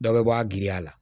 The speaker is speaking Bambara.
Dɔ bɛ bɔ a giriya la